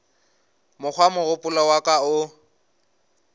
mokgwa mogopolo wa ka o